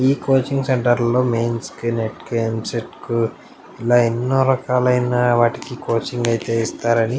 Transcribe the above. ఈ కోచింగ్ సెంటర్లో మైన్స్ కి నీట్ కి ఎంసెట్కు ఇలా ఎన్నో రకాలైనవాటికి కోచింగ్ అయితే ఇస్తారు అని --